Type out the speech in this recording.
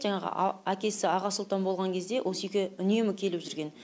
жаңағы әкесі аға сұлтан болған кезде осы үйге үнемі келіп жүрген